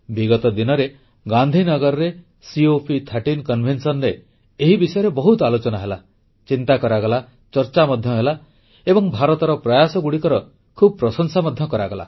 ବିଗତ ଦିନରେ ଗାନ୍ଧୀନଗରରେ COP13 ସମ୍ମିଳନୀରେ ଏହି ବିଷୟରେ ବହୁତ ଆଲୋଚନା ହେଲା ଚିନ୍ତା କରାଗଲା ଚର୍ଚ୍ଚା ମଧ୍ୟ ହେଲା ଏବଂ ଭାରତର ପ୍ରୟାସଗୁଡ଼ିକର ବହୁତ ପ୍ରଶଂସା ମଧ୍ୟ କରାଗଲା